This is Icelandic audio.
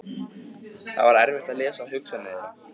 Það var erfitt að lesa hugsanir þeirra.